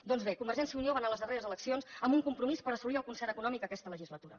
doncs bé convergència i unió va anar a les darreres eleccions amb un compromís per assolir el concert econòmic aquesta legislatura